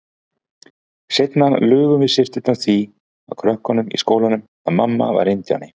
Seinna lugum við systurnar því að krökkunum í skólanum að mamma væri indíáni.